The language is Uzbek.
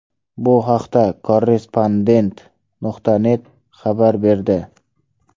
Bu haqda ”Korrespondent.net” xabar berdi .